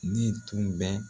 Ni tun bɛ